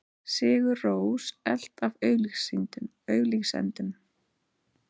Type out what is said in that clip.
Sigur Rós elt af auglýsendum